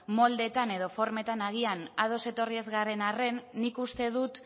moldeetan edo formetan agian ados etorri ez garen arren nik uste dut